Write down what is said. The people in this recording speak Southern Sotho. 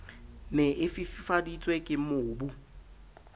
ne e fifaditswe ke mobu